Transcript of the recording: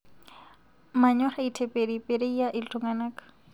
Manyor aiteperipereyia ltungana